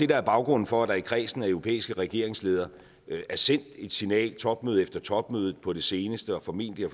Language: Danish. der er baggrunden for at der i kredsen af europæiske regeringsledere er sendt et signal topmøde efter topmøde på det seneste og formentlig og